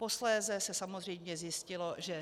Posléze se samozřejmě zjistilo, že